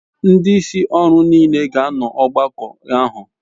Ndi isi oru n'ile ga ano n'ogbako ahu